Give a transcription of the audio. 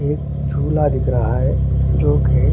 एक झोला दिख रहा है जो की--